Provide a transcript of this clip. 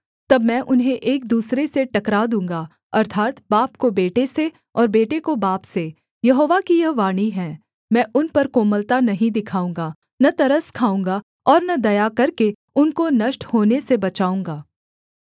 तब मैं उन्हें एक दूसरे से टकरा दूँगा अर्थात् बाप को बेटे से और बेटे को बाप से यहोवा की यह वाणी है मैं उन पर कोमलता नहीं दिखाऊँगा न तरस खाऊँगा और न दया करके उनको नष्ट होने से बचाऊँगा